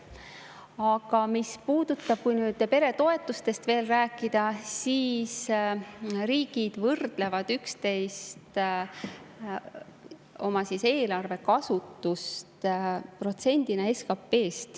Aga mis puudutab seda, et kui nüüd peretoetustest veel rääkida, siis riigid võrdlevad oma eelarve kasutust protsendina SKP-st.